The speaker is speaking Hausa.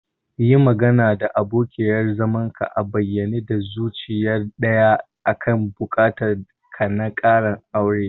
Yi magana da abokiyar zamanka a bayyane da zuciya daya akan buƙatar ka na ƙarin aure.